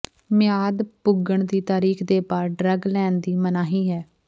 ਮਿਆਦ ਪੁੱਗਣ ਦੀ ਤਾਰੀਖ ਦੇ ਬਾਅਦ ਡਰੱਗ ਲੈਣ ਦੀ ਮਨਾਹੀ ਹੈ